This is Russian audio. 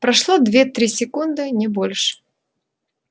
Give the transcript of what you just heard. прошло две-три секунды не больше